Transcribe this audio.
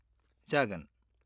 जागोन।